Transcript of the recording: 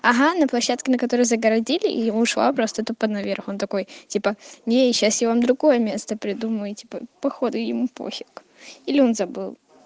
ага на площадке на которой загородили и ушла просто тупо наверх он такой типа не сейчас я вам другое место придумаю типа походу ему пофиг или он забыл